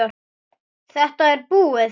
Þetta er búið